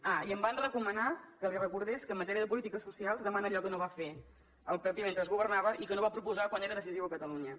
ah i em van recomanar que li recordés que en matèria de polítiques socials demana allò que no va fer el pp mentre governava i que no va proposar quan era decisiu a catalunya